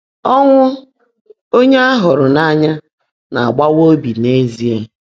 Ọ́ńwụ́ ónyé á hụ́ụ́rụ́ n’áńyá ná-ágbaáwá óbí n’ézíe.